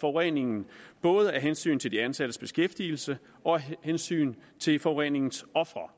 forureningen både af hensyn til de ansattes beskæftigelse og af hensyn til forureningens ofre